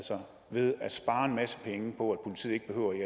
ved at spare en masse penge politiet ikke behøvede at